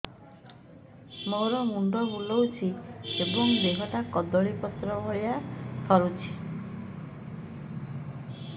ମୋର ମୁଣ୍ଡ ବୁଲାଉଛି ଏବଂ ଦେହଟା କଦଳୀପତ୍ର ଭଳିଆ ଥରୁଛି